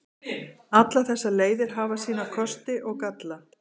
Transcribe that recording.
Allar þessar leiðir hafa sína kosti og galla.